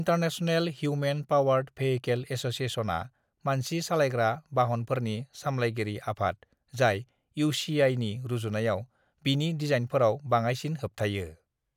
International human powered vehicle एसोसिएशनआ मानसि सालायग्रा बाहनफोरनि सामलायगिरि आफाद जाय इउ. सि. आइ. नि रुजुनायाव बिनि दिजाइनफोराव बाङाइसिन होबथायो।